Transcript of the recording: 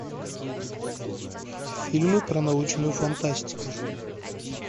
фильмы про научную фантастику